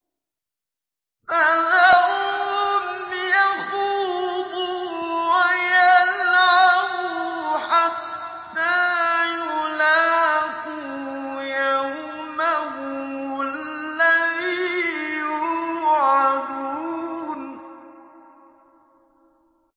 فَذَرْهُمْ يَخُوضُوا وَيَلْعَبُوا حَتَّىٰ يُلَاقُوا يَوْمَهُمُ الَّذِي يُوعَدُونَ